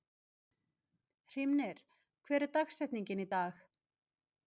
Hrímnir, hver er dagsetningin í dag?